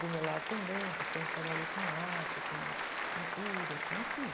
Do meu lado também, que sempre trabalhei com arte, com pintura, com, enfim.